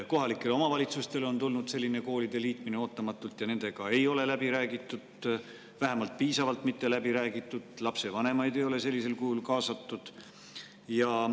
Kohalikele omavalitsustele on tulnud selline koolide liitmine ootamatult, nendega ei ole läbi räägitud, vähemasti mitte piisavalt läbi räägitud, ja lapsevanemaid ei ole sellisel kujul kaasatud.